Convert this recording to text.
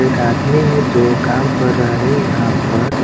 एक आदमी है जो काम कर रहा है यहां पर।